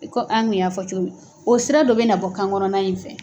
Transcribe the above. I ko an kun y'a fɔ cogo min o sira dɔ bɛ na bɔ kan kɔnɔna in fɛ.